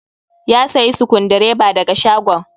Ya sayi Sukundireba da ga shagon.